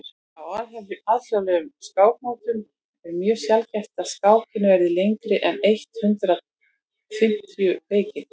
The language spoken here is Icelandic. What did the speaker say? á alþjóðlegum skákmótum er mjög sjaldgæft að skákir verði lengri en eitt hundruð fimmtíu leikir